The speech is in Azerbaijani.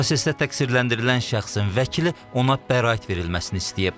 Prosesdə təqsirləndirilən şəxsin vəkili ona bəraət verilməsini istəyib.